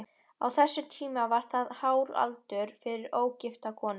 Á þessum tíma var það hár aldur fyrir ógifta konu.